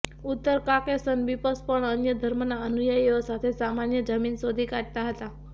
ઉત્તર Caucasus bishop પણ અન્ય ધર્મના અનુયાયીઓ સાથે સામાન્ય જમીન શોધી કાઢતા હતા